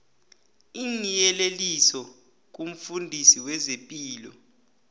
iinyeleliso kumfundisi wezepilo